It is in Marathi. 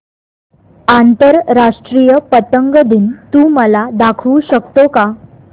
आंतरराष्ट्रीय पतंग दिन तू मला दाखवू शकतो का